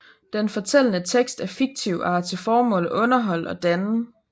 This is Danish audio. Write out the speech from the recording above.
Den fortællende tekst er fiktiv og har til formål at underholde og danne